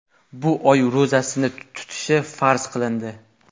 bu oy ro‘zasini tutishi farz qilindi.